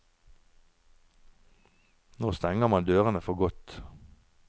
Nå stenger man dørene for godt.